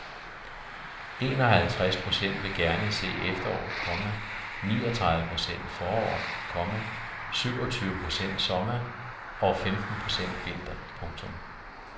Enoghalvtreds procent vil gerne se efterår, komma niogtredive procent forår, komma syvogtyve procent sommer og femten procent vinter. punktum